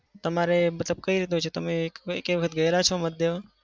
તમારે મતલબ કઈ રીતનું છે? તમે એકેય વખત ગયા છો મત દેવા?